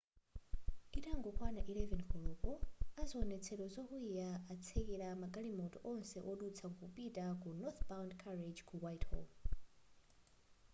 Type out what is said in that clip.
itangokwana 11 koloko aziwonetsero zokwiya atsekela magalimoto onse wodutsa kupita ku northbound carriage ku whitehall